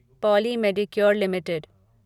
poly Medicure limited